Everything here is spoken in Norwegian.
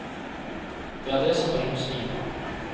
Det er det som bringer oss videre.